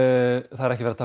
það er ekki verið